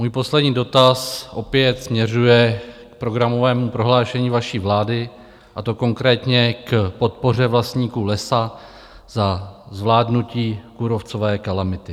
Můj poslední dotaz opět směřuje k programovému prohlášení vaší vlády, a to konkrétně k podpoře vlastníků lesa za zvládnutí kůrovcové kalamity.